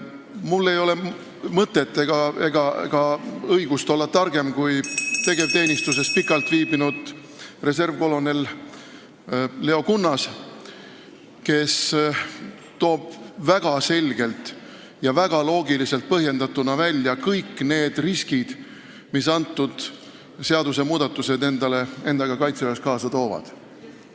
Mul ei ole mõtet ega õigust püüda olla targem kui tegevteenistuses pikka aega olnud reservkolonel Leo Kunnas, kes toob väga selgelt ja väga loogiliselt põhjendatuna välja kõik riskid, mida need seadusmuudatused endaga kaitseväes kaasa toovad.